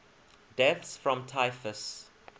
deaths from typhus